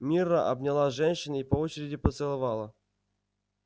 мирра обняла женщин и по очереди поцеловала